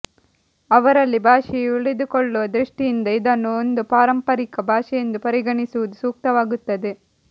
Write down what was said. ಅವರಲ್ಲಿ ಭಾಷೆಯು ಉಳಿದುಕೊಳ್ಳುವ ದೃಷ್ಟಿಯಿಂದ ಇದನ್ನು ಒಂದು ಪಾರಂಪರಿಕ ಭಾಷೆಯೆಂದು ಪರಿಗಣಿಸುವುದು ಸೂಕ್ತವಾಗುತ್ತದೆ